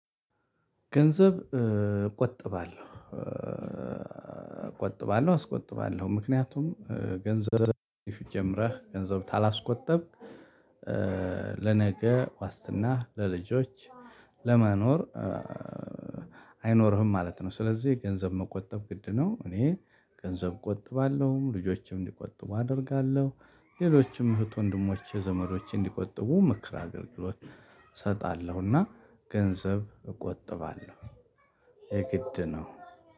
ገንዘብ ቆጥባለሁ። ቆጥባለሁ አስቆጥባለሁ ምክንያቱም ገንዘብ ጀምረህ ገንዘብ ታላስቆጠብክ ለነገ ዋስትና ለልጆች ለመኖር አይኖርህም ማለት ነው። ስለዚህ ገንዘብ መቆጠብ ግድ ነው። እኔ ገንዘብ ቆጥባለሁም ልጆችም እንዲቆጥቡ አደርጋለሁ። ሌሎችም እህት ወንድሞቼ ዘመዶቼ እንዲቆጥቡ ምክር አገልግሎት እሰጣለሁና ገንዘብ እቆጥባለሁ። የግድ ነው